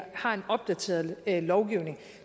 har en opdateret lovgivning